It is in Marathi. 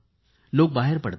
लोक बाहेर पडतात